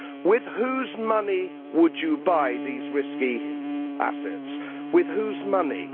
With whose money would you buy these risky assets? With whose money?